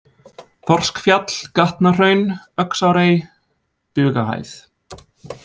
Þorskfjall, Gatnahraun, Öxarárey, Bugahæð